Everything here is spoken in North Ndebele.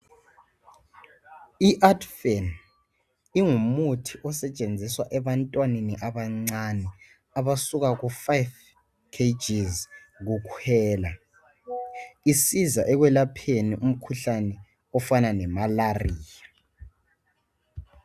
IArtefan ingumuthi osetshenziswa ebantwaneni abancane abasuka ku 5kgs kukhwela isiza ekwelapheni umkhuhlane ofana lemalaria